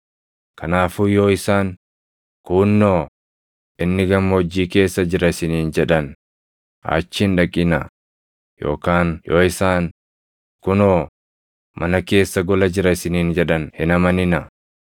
“Kanaafuu yoo isaan, ‘Kuunnoo, inni gammoojjii keessa jira’ isiniin jedhan achi hin dhaqinaa; yookaan yoo isaan, ‘Kunoo, mana keessa gola jira’ isiniin jedhan hin amaninaa.